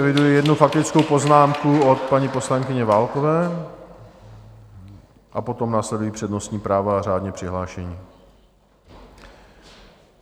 Eviduji jednu faktickou poznámku od paní poslankyně Válkové a potom následují přednostní práva a řádně přihlášení.